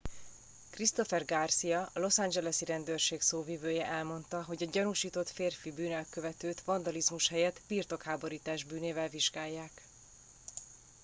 christopher garcia a los angelesi rendőrség szóvivője elmondta hogy a gyanúsított férfi bűnelkövetőt vandalizmus helyett birtokháborítás bűnével vizsgálják